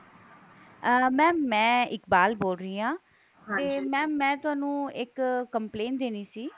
ਅਹ mam ਮੈਂ ਇਕਬਾਲ ਬੋਲ ਰਹੀ ਹਾਂ ਤੇ mam ਮੈਂ ਤੁਹਾਨੂੰ ਇੱਕ complaint ਦੇਨੀ ਸੀ